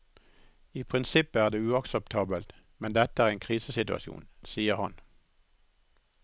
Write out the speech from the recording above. I prinsippet er det uakseptabelt, men dette er en krisesituasjon, sier han.